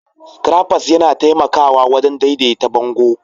Scrappers yana taimakawa wajen daidaita bango